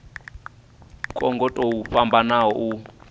kwo ngo tou fhambana u